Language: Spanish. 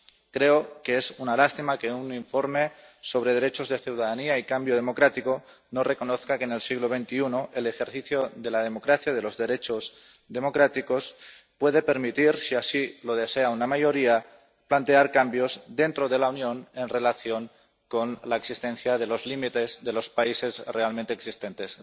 Creo que es una lástima que un informe sobre derechos de ciudadanía y cambio democrático no reconozca que en el siglo XXI el ejercicio de la democracia y de los derechos democráticos puede permitir, si así lo desea una mayoría, plantear cambios dentro de la Unión en relación con la existencia de los límites de los países realmente existentes.